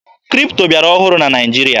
Kripto bịara ọhụrụ na Naịjirịa